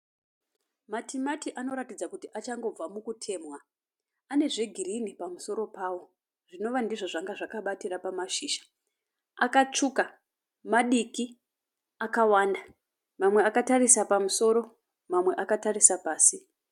Matimati anoratidza kuti achangobva mukutemhwa. Anezve girinhi pamusoro pawo zvinova ndizvo zvanga zvakabatira pamashizha. Akatsvuka, madiki, akawanda. Mamwe akatarisa pamusoro, mamwe akatarisa pasi.